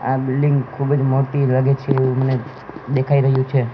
આ બિલ્ડીંગ ખૂબ જ મોટી લાગે છે એવું મને દેખાઈ રહ્યું છે.